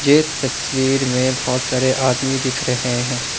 ये तस्वीर मे बहोत सारे आदमी दिख रहे है।